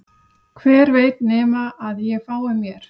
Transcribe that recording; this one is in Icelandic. Hver veit nema að ég fái mér